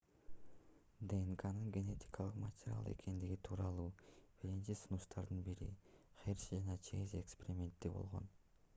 днкнын генетикалык материал экендиги тууралуу биринчи сунуштардын бири херши жана чейз эксперименти болгон